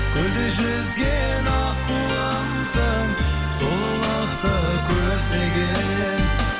көлде жүзген аққуымсың сұлулықты көздеген